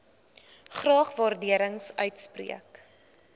graag waardering uitspreek